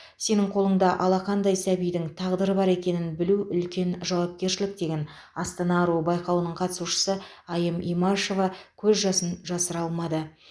сенің қолыңда алақандай сәбидің тағдыры бар екенін білу үлкен жауапкершілік деген астана аруы байқауының қатысушысы айым имашева көз жасын жасыра алмады